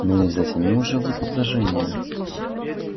ну и затянул же вуд изложение